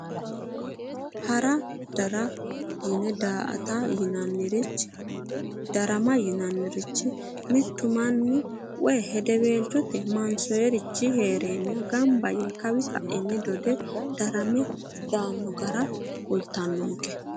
Hara dara yine daa"ata yinannirichi darama yinannirichi mittu manni woye hedeweelchote mansoyeerichi heereenna gamba yee kawi ka'inni gamba yee dodame daanno gara kultannonke